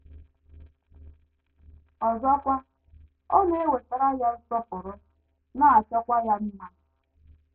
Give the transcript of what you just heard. Ọzọkwa, ọ na - ewetara ya nsọpụrụ, na - achọkwa ya mma.